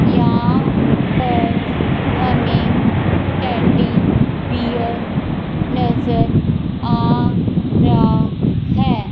यहां पर हमें टेडी बियर नज़र आ रा है।